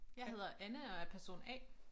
Jeg hedder Anna og er person A